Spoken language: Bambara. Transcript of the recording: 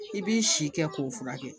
I b'i si kɛ k'o furakɛ